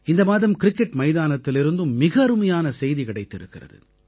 இந்த மாதம் கிரிக்கெட் மைதானத்திலிருந்தும் மிக அருமையான செய்தி கிடைத்திருக்கிறது